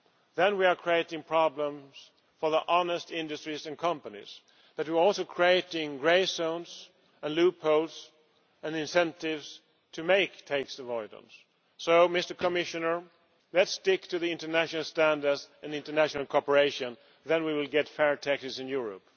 Then we are creating problems for honest industries and companies but we are also creating grey zones and loopholes and incentives to make tax avoidance. So, Commissioner, let us stick to international standards and international cooperation, then we will get fair taxes in Europe.